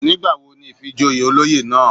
Nígbàwo ni ìfìjoyè olóyè náà?